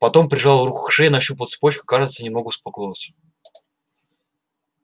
потом прижал руку к шее нащупал цепочку и кажется немного успокоился